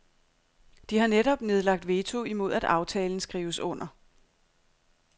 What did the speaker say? De har netop nedlagt veto imod at aftalen skrives under.